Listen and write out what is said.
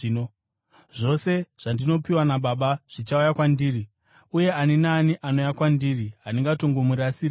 Zvose zvandinopiwa naBaba zvichauya kwandiri, uye ani naani anouya kwandiri handingatongomurasiri kure.